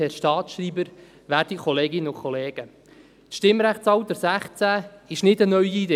Das Stimmrechtsalter 16 ist keine neue Idee.